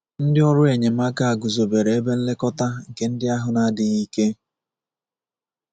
Ndị ọrụ enyemaka guzobere ebe nlekọta nke ndị ahụ na-adịghị ike.